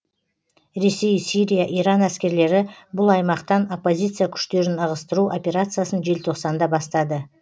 ресей сирия иран әскерлері бұл аймақтан оппозиция күштерін ығыстыру операциясын желтоқсанда бастады